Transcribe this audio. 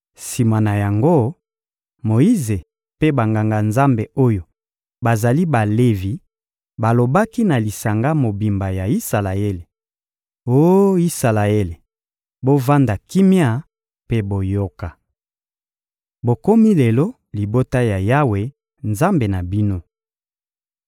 Sima na yango, Moyize mpe Banganga-Nzambe oyo bazali Balevi balobaki na lisanga mobimba ya Isalaele: «Oh Isalaele, bovanda kimia mpe boyoka! Bokomi lelo libota ya Yawe, Nzambe na bino.